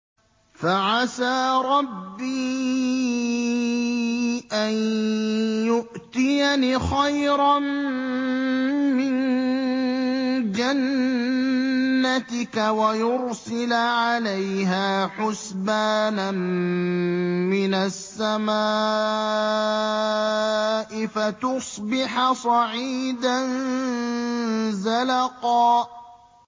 فَعَسَىٰ رَبِّي أَن يُؤْتِيَنِ خَيْرًا مِّن جَنَّتِكَ وَيُرْسِلَ عَلَيْهَا حُسْبَانًا مِّنَ السَّمَاءِ فَتُصْبِحَ صَعِيدًا زَلَقًا